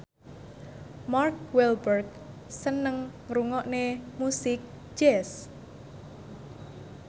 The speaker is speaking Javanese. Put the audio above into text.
Mark Walberg seneng ngrungokne musik jazz